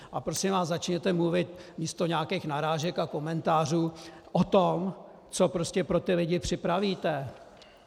A prosím vás, začněte mluvit místo nějakých narážek a komentářů o tom, co prostě pro ty lidi připravíte.